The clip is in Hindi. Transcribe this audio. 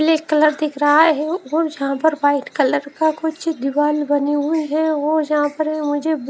ब्लैक कलर दिख रहा है और यहां पर व्हाईट कलर का कुछ दीवार बने हुए है और यहां पर मुझे--